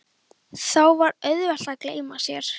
Þá var auðvelt að gleyma sér.